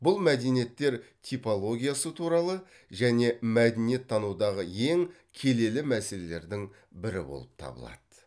бұл мәдениеттер типологиясы туралы және мәдениеттанудағы ең келелі мәселелердің бірі болып табылады